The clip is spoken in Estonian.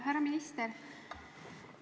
Härra minister!